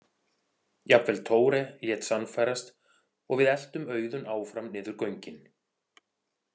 Jafnvel Tore lét sannfærast og við eltum Auðun áfram niður göngin.